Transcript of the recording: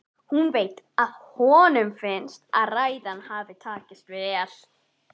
Hún veit að honum finnst ræðan hafa tekist vel.